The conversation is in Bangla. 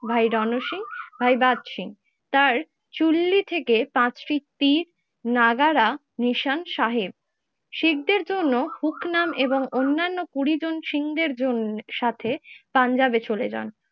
ভাই রণ সিং, ভাই বাদ সিং তার চুল্লি থেকে পাঁচটি তীর নাগারা নিশান সাহেব। শিখ দের জন্য হুকনাম এবং অন্যান্য কুড়িজন সিং হের জন্য সাথে পাঞ্জাবে চলে যান।